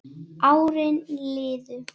Árin liðu.